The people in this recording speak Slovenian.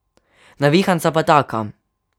Navihanca pa taka.